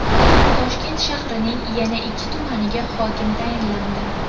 Toshkent shahrining yana ikki tumaniga hokim tayinlandi.